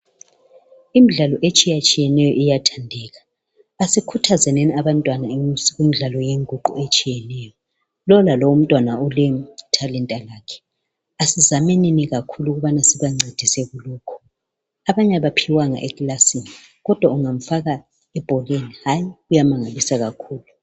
Imdlalo etshiyatshiyeneyo iyathandeka asikhuthazenini abantwana kumidlalo yenguqu etshiyeneyo. Lowu lalowu umntwana ulethalenta lakhe. Asizamenini kakhulu ububana sibancedise kulokho. Abanye abaphiwanga ekilasini, kodwa ungamfaka ebhoreni hayi, uyamangalisa kakhulu.